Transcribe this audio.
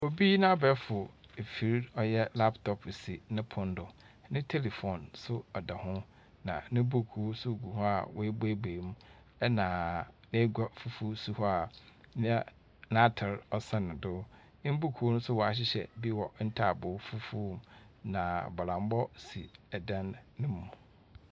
Obi n'abɛɛfo afir a ɔyɛ laptop si no pon do. Ne telephone nso da hɔ, na no buuku nso gu hɔ a ɔebueibuei mu, na egua fufuw si hɔ a na n'atar ɔsɛn do. Mbuuku nso ɔahyehyɛ bi wɔ ntaabow fufuw mu, na bɔdambɔ si dan no mu.